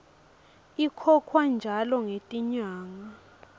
ikhokhwa njalo ngetinyanga